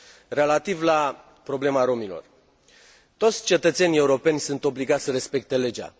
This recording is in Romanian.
Relativ la problema romilor toți cetățenii europeni sunt obligați să respecte legea.